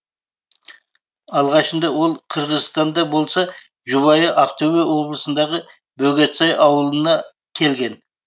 алғашында ол қырғызстанда болса жұбайы ақтөбе облысындағы бөгетсай ауылына келген